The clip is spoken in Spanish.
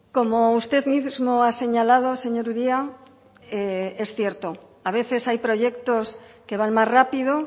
como usted mismo ha señalado señor uria es cierto a veces hay proyectos que van más rápido